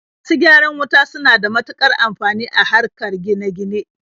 Masu gyaran wuta suna da matuƙar amfani a harkar gine-gine.